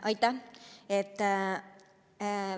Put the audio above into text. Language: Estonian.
Aitäh!